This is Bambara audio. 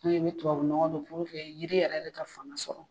Ne ye tubabu nɔgɔ don yiri yɛrɛ de ka fanga sɔrɔ